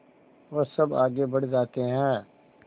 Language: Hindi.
वह सब आगे बढ़ जाते हैं